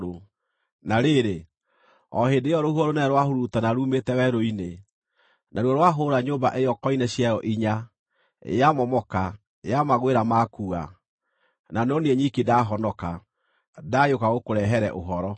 na rĩrĩ, o hĩndĩ ĩyo rũhuho rũnene rwahurutana ruumĩte werũ-inĩ, na ruo rwahũũra nyũmba ĩyo koine ciayo inya, yamomoka, yamagwĩra maakua; na no niĩ nyiki ndahonoka, ndagĩũka gũkũrehere ũhoro!”